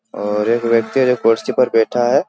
और एक व्यक्ति है जो कुर्सी पर बैठा है।